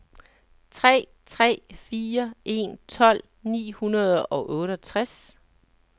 tre tre fire en tolv ni hundrede og otteogtres